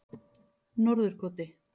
Norðurkoti